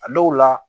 A dɔw la